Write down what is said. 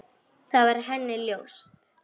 Það var henni ljóst.